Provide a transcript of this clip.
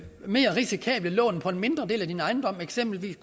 mere risikable lån på en mindre del af din ejendom for eksempel